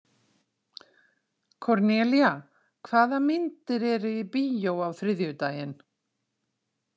Kornelía, hvaða myndir eru í bíó á þriðjudaginn?